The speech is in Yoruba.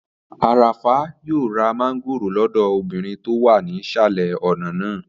Arafah yóò ra mángòrò lọ́dọ̀ obìnrin tó wà nísàlẹ̀ ọ̀nà náà